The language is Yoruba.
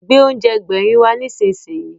Gbé oúnjẹ Ẹgbẹ̀rin wá nísinsìnyí!